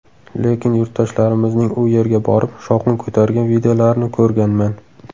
Lekin yurtdoshlarimizning u yerga borib, shovqin ko‘targan videolarini ko‘rganman.